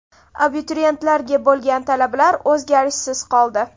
Abituriyentlarga bo‘lgan talablar o‘zgarishsiz qoldi.